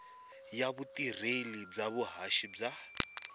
ya vutirheli bya vuhaxi bya